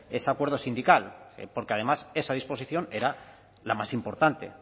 ese acuerdo sindical porque además esa disposición era la más importante